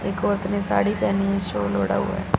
एक औरत ने साड़ी पहनी है शॉल ओढ़ा हुआ--